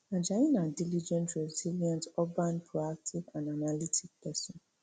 ajayi na diligent resilient urbane proactive and analytical pesin